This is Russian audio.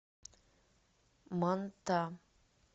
манта